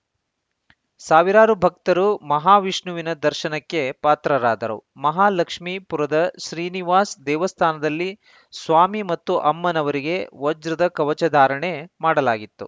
ಸಾವಿರಾರು ಭಕ್ತರು ಮಹಾವಿಷ್ಣುವಿನ ದರ್ಶನಕ್ಕೆ ಪಾತ್ರರಾದರು ಮಹಾಲಕ್ಷ್ಮಿಪುರದ ಶ್ರೀನಿವಾಸ ದೇವಸ್ಥಾನದಲ್ಲಿ ಸ್ವಾಮಿ ಮತ್ತು ಅಮ್ಮನವರಿಗೆ ವಜ್ರದ ಕವಚ ಧಾರಣೆ ಮಾಡಲಾಗಿತ್ತು